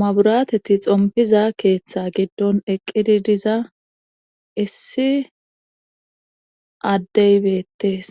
maburateti xompiza keeththa giddon eqqidi diza issi addey beettees